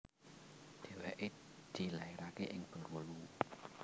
Dèwèké dilaeraké ing Bengkulu